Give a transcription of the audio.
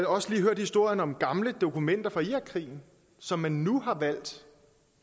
også lige hørt historien om gamle dokumenter fra irakkrigen som man nu har valgt